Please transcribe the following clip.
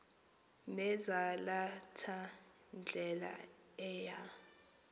nezalatha ndlela eya